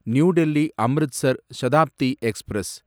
new Delhi Amritsar Shatabdi express